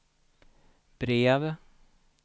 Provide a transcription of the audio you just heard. brev